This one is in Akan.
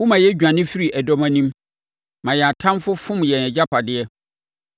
Woma yɛdwane firii ɛdɔm anim ma yɛn atamfoɔ fom yɛn agyapadeɛ.